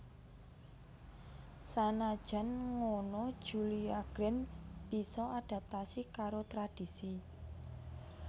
Sanajan ngono Julia Grant bisa adaptasi karo tradhisi